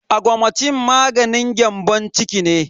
Augmentin maganin gyambon ciki ne.